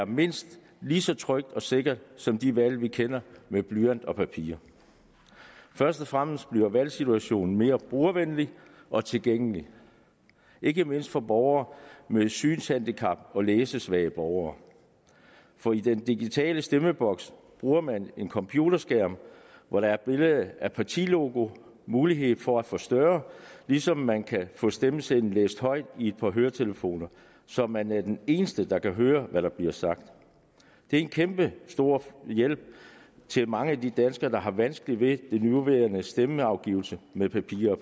mindst lige så trygt og sikkert som de valg vi kender med blyant og papir først og fremmest bliver valgsituationen mere brugervenlig og tilgængelig ikke mindst for borgere med synshandicap og for læsesvage borgere for i den digitale stemmeboks bruger man en computerskærm hvor der er billede af partilogo mulighed for at forstørre ligesom man kan få stemmesedlen læst højt i et par høretelefoner så man er den eneste der kan høre hvad der bliver sagt det er en kæmpestor hjælp til mange af de danskere der har vanskeligt ved den nuværende stemmeafgivelse med papir og